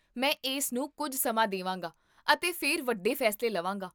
ਮੈਂ ਇਸ ਨੂੰ ਕੁੱਝ ਸਮਾਂ ਦੇਵਾਂਗਾ ਅਤੇ ਫਿਰ ਵੱਡੇ ਫੈਸਲੇ ਲਵਾਂਗਾ